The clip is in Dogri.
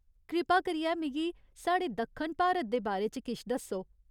कृपा करियै मिगी साढ़े दक्खन भारत दे बारे च किश दस्सो।